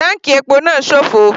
Táǹkì epo náà sófo.